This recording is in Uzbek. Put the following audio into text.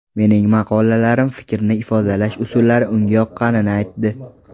mening maqolalarim, fikrni ifodalash usullari unga yoqqanini aytdi.